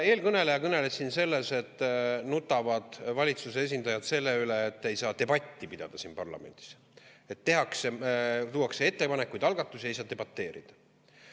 Eelkõneleja kõneles siin sellest, et valitsuse esindajad nutavad selle pärast, et ei saa siin parlamendis debatti pidada, sest ettepanekuid ja algatusi, ei saa debateerida.